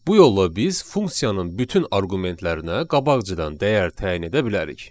Bu yolla biz funksiyanın bütün arqumentlərinə qabaqcadan dəyər təyin edə bilərik.